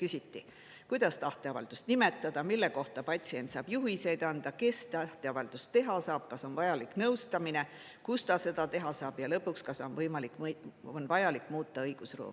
küsiti: kuidas tahteavaldust nimetada, mille kohta patsient saab juhiseid anda, kes tahteavaldust teha saab, kas on vajalik nõustamine, kust ta seda teha saab ja lõpuks, kas on vajalik muuta õigusruumi.